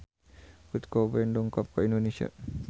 Kurt Cobain dongkap ka Indonesia